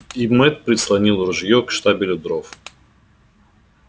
и мэтт прислонил ружьё к штабелю дров